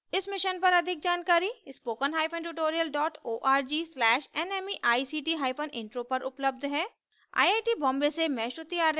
इस mission पर अधिक जानकारी spoken hyphen tutorial dot org slash nmeict hyphen intro पर उपलब्ध है